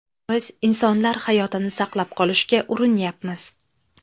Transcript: Biz insonlar hayotini saqlab qolishga urinyapmiz.